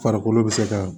Farikolo bɛ se ka